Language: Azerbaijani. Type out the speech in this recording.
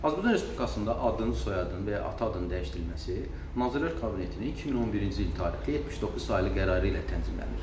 Azərbaycan Respublikasında adın, soyadın və ya ata adının dəyişdirilməsi Nazirlər Kabinetinin 2011-ci il tarixli 79 saylı qərarı ilə tənzimlənir.